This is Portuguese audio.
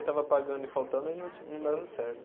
E estava pagando e faltando, aí não não dava certo.